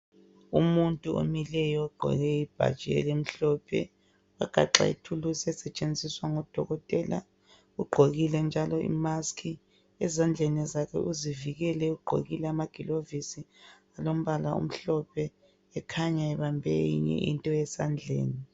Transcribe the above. Umuntu omileyo ogqoke ibhatshi elimhlophe ogaxe ithulusi esetshenziswa ngodokotela. Ugqokile njalo imask . Ezandleni zakhe uzivikele ugqokile amaglovisi .Ulombala emhlophe ekhanya ebambe eyinye into esandleni.